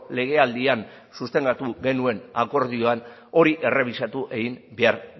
legealdian sustengatu genuen akordioan hori errebisatu egin behar